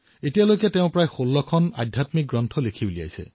তেওঁ এই পৰ্যন্ত প্ৰায় ১৬খন আধ্যাত্মিক গ্ৰন্থ ৰচনা কৰিছে